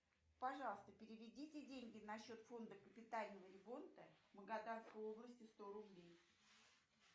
пожалуйста переведите деньги на счет фонда капитального ремонта магаданской области сто рублей